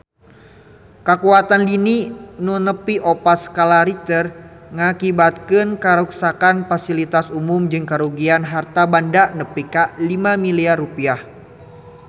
Kakuatan lini nu nepi opat skala Richter ngakibatkeun karuksakan pasilitas umum jeung karugian harta banda nepi ka 5 miliar rupiah